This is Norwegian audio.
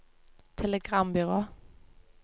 telegrambyrå